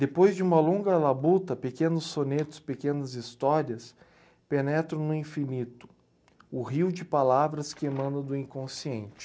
Depois de uma longa labuta, pequenos sonetos, pequenas histórias, penetro no infinito, o rio de palavras que emana do inconsciente.